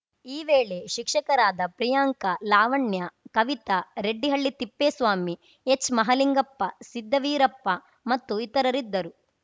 ಈ ವೇಳೆ ಶಿಕ್ಷಕರಾದ ಪ್ರಿಯಾಂಕಾ ಲಾವಣ್ಯ ಕವಿತಾ ರೆಡ್ಡಿಹಳ್ಳಿ ತಿಪ್ಪೇಸ್ವಾಮಿ ಹೆಚ್‌ಮಹಲಿಂಗಪ್ಪ ಸಿದ್ದವೀರಪ್ಪ ಮತ್ತು ಇತರರಿದ್ದರು